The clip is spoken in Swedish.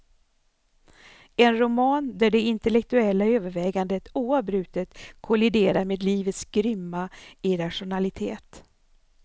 En roman där det intellektuella övervägandet oavbrutet kolliderar med livets grymma irrationalitet.